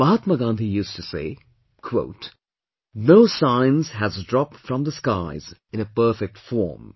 Mahatma Gandhi used to say, "No Science has dropped from the skies in a perfect form